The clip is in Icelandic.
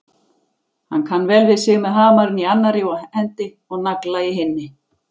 Hann kann vel við sig með hamarinn í annarri hendi og nagla í hinni.